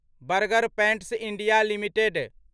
burger pants India limited